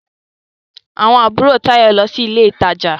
Àwọn àbúrò Táyọ̀ ń lọ sí ilé ìtajà.